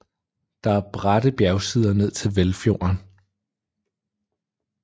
Der er bratte bjergsider ned til Velfjorden